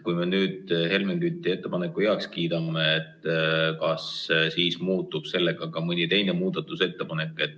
Kui me nüüd Helmen Küti ettepaneku heaks kiidame, kas siis muutub sellega ka mõni teine muudatusettepanek?